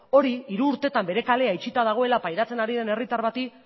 hori hiru urtetan bere kalea itxita dagoela pairatzen ari den herritar bati